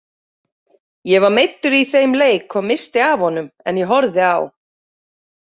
Ég var meiddur í þeim leik og missti af honum en ég horfði á.